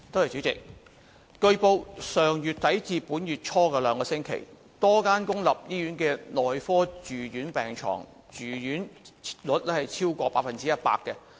主席，據報，上月底至本月初的兩星期，多間公立醫院的內科住院病床住用率超過百分之一百。